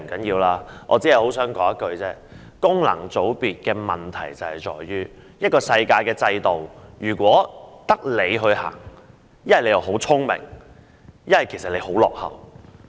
不過，我只想說一句，功能界別的問題在於：在世界上，一個制度如果只有你採用，要不是你很聰明，要不便是你很落後。